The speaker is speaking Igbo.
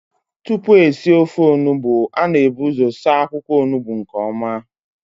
Tupu esi ofe Onugbu, a na-ebu ụzọ saa akwụkwọ Onugbu nke ọma